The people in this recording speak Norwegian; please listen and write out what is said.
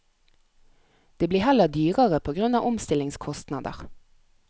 Det blir heller dyrere på grunn av omstillingskostnader.